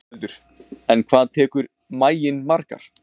Ingveldur: En hvað tekur maginn margar?